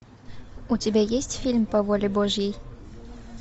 у тебя есть фильм по воле божьей